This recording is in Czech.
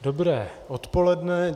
Dobré odpoledne.